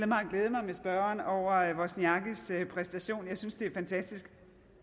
mig at glæde mig med spørgeren over wozniackis præstation jeg synes det er fantastisk